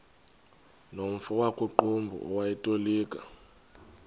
nomfo wakuqumbu owayetolika